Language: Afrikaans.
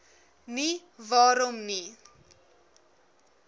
nie waarom nie